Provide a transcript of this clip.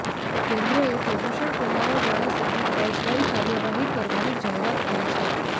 કેન્દ્ર એ પ્રદૂષણ ફેલાવવાવાળા સામે ફોજદારી કાર્યવાહી કરવાની જાહેરાત કરી છે